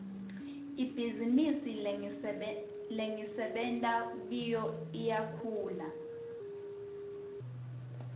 ibhizinisi lengisebenta kiyo iyakhula